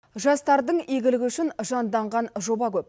жастардың игілігі үшін жанданған жоба көп